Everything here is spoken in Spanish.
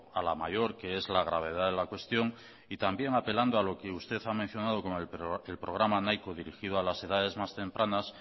a la mayor que es la gravedad de la cuestión y también apelando a lo que usted ha mencionado con el programa nahiko dirigido a las edades más tempranas